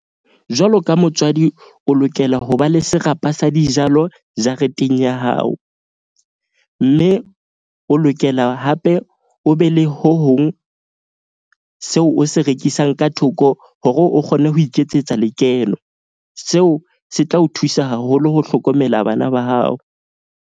Jwalo ka motswadi, o lokela ho ba le serapa sa dijalo jareteng ya hao. Mme o lokela hape o be le ho hong seo o se rekisang ka thoko hore o kgone ho iketsetsa lekeno. Seo se tla o thusa haholo ho hlokomela bana ba hao.